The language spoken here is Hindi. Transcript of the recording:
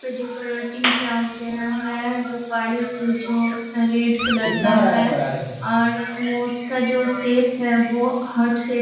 डेकोरेटिंग किया गया है गुब्बारे से जो रेड कलर का है और वो उसका जो शेप है वो हार्ट शेप --